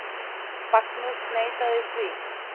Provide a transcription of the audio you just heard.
Magnús neitaði því.